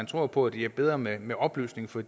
tror på at det er bedre med med oplysning for